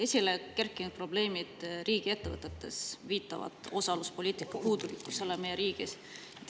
Esile kerkinud probleemid riigiettevõtetes viitavad osaluspoliitika puudulikkusele meie riigis.